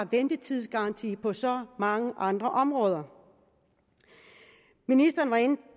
ventetidsgaranti på så mange andre områder ministeren var inde